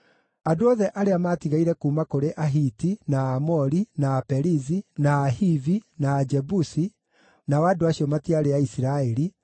Andũ othe arĩa maatigaire kuuma kũrĩ Ahiti, na Aamori, na Aperizi, na Ahivi, na Ajebusi (nao andũ acio matiarĩ Aisiraeli),